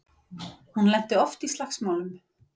Hún lenti oft í slagsmálum.